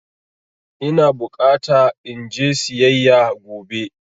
Ina bukata in je siyayya gobe.